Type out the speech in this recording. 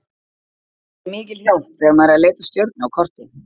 Þetta er mikil hjálp þegar maður er að leita að stjörnu á korti.